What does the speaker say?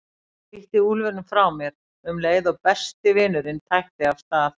Ég ýtti úlfinum frá mér um leið og besti vinurinn tætti af stað.